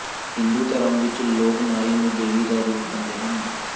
ਹਿੰਦੂ ਧਰਮ ਵਿੱਚ ਲੋਕ ਨਾਰੀ ਨੂੰ ਦੇਵੀ ਦਾ ਰੂਪ ਮੰਣਦੇ ਹਨ